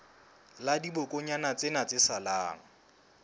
la dibokonyana tsena tse salang